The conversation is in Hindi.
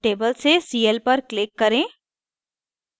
table से cl पर click करें